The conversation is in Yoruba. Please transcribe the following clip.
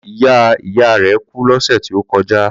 Ìyá ìyá rẹ̀ kú lọ́sẹ̀ tí ó kọjá.